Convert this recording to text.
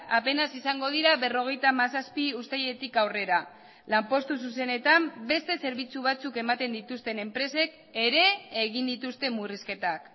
apenas izango dira berrogeita hamazazpi uztailetik aurrera lanpostu zuzenetan beste zerbitzu batzuk ematen dituzten enpresek ere egin dituzte murrizketak